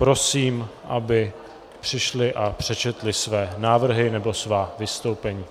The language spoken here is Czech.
Prosím, aby přišli a přečetli své návrhy nebo svá vystoupení.